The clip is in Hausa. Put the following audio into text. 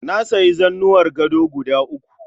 Na sayi zanuwar gado guda uku